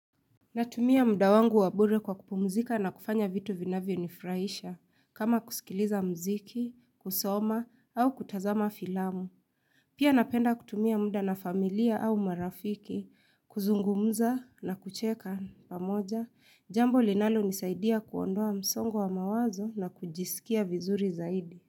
Natumia muda wangu wa bure kwa kupumzika na kufanya vitu vinavyonifraisha kama kusikiliza mziki, kusoma au kutazama filamu. Pia napenda kutumia muda na familia au marafiki, kuzungumza na kucheka pamoja. Jambo linalonisaidia kuondoa msongo wa mawazo na kujisikia vizuri zaidi.